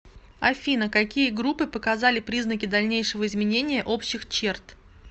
афина какие группы показали признаки дальнейшего изменения общих черт